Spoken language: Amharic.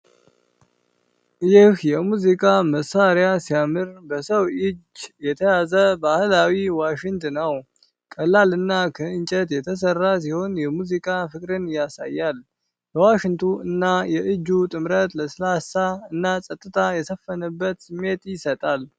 ይህ የሙዚቃ መሳሪያ ሲያምር! በሰው እጅ የተያዘ ባህላዊ ዋሽንት ነው። ቀላልና ከእንጨት የተሰራ ሲሆን፣ የሙዚቃ ፍቅርን ያሳያል። የዋሽንቱ እና የእጁ ጥምረት ለስላሳ እና ጸጥታ የሰፈነበት ስሜት ይሰጣል።